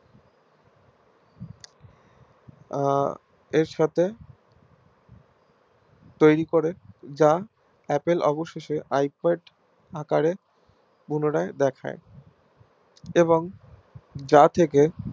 আহ এর সাথে তৈরী করি যা Apple অবশেষে Ipad আকারে পুনরায় দেখায় এবং যা থেকে